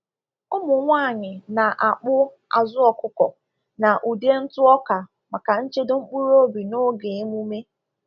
Ụmụ nwanyi na-akpụ azụ ọkụkọ na ude ntụ ọka maka nchedo mkpụrụobi n’oge emume.